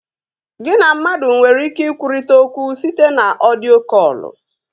Gị na mmadụ nwere ike ikwurịta okwu site na ọdio kọlụ